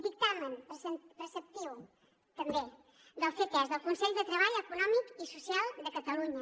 dictamen preceptiu també del ctesc del consell de treball econòmic i social de catalunya